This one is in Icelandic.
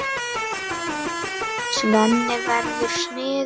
Svenni verður smiður.